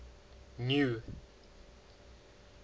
new